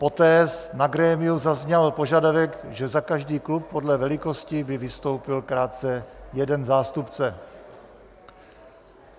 Poté na grémiu zazněl požadavek, že za každý klub podle velikosti by vystoupil krátce jeden zástupce.